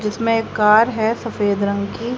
जिसमें एक कार है सफेद रंग की।